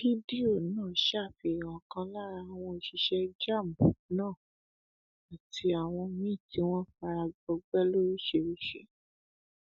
fídíò náà ṣàfihàn ọkan lára àwọn òṣìṣẹ jamb náà àti àwọn míín tí wọn fara gbọgbẹ lóríṣìíríṣìí